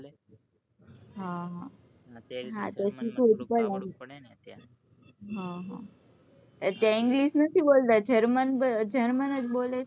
હ હ ત્યાં હ હ English નથી બોલ તા german જ બોલે છે